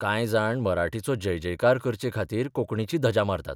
कांय जाण मराठीचो जयजयकार करचेखातीर कोंकणीची धजा मारतात.